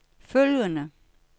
følgende